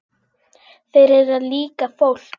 Þeir eru líka fólk.